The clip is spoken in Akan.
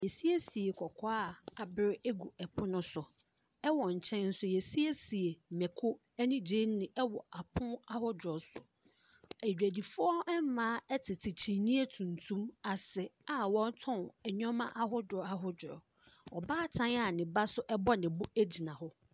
Wɔasiesie kɔkɔɔ a abere gu pono so. Wɔ nkyɛn nso wɔasiesie mmako ne gyeene wɔ apono ahodoɔ so. Adwadifiɔ mmaa tete kyiniiɛ tuntum ase a wɔretɔn nneɛma ahodoɔ ahodoɔ. Ɔbaatan a ɔbaa nso bɔ ne bo gyina hɔ.